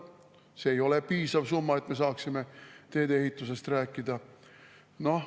See ei ole piisav summa, et me saaksime teedeehitusest rääkida.